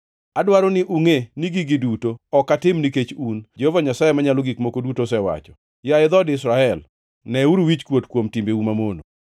Adwaro ni ungʼe ni gigi duto ok atim nikech un, Jehova Nyasaye Manyalo Gik Moko Duto osewacho. Yaye dhood Israel, neuru wichkuot kuom timbeu mamono!